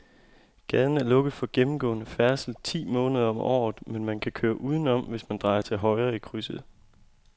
Gaden er lukket for gennemgående færdsel ti måneder om året, men man kan køre udenom, hvis man drejer til højre i krydset.